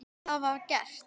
Það var gert.